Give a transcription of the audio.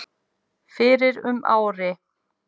fyrir um ári.